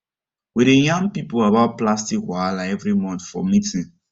we dey yarn people about plastic wahala every month for meeting